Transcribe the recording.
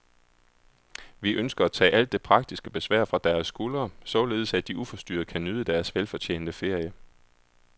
Vi ønsker at tage alt det praktiske besvær fra deres skuldre, således at de uforstyrret kan nyde deres velfortjente ferie.